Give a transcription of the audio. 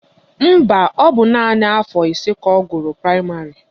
Mba, ọ bụ naanị afọ ise ka ọ gụrụ praịmarị